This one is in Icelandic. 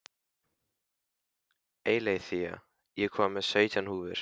Eileiþía, ég kom með sautján húfur!